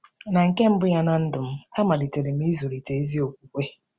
Na nke mbụ ya ná ndụ m, amalitere m ịzụlite ezi okwukwe.